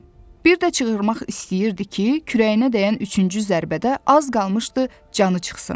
Bir də çığırmaq istəyirdi ki, kürəyinə dəyən üçüncü zərbədə az qalmışdı canı çıxsın.